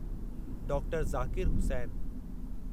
doctor Zakir Hussain